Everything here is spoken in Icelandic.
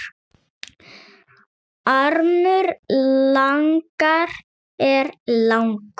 Armur laganna er langur